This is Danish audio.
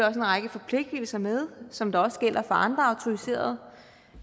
en række forpligtelser med som der også gælder for andre autoriserede